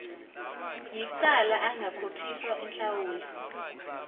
yicala angakhokhiswa inhlawulo